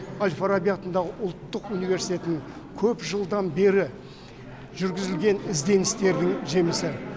әл фараби атындағы ұлттық университетінің көп жылдан бері жүргізілген ізденістердің жемісі